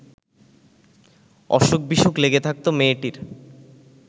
অসুখ-বিসুখ লেগে থাকত মেয়েটির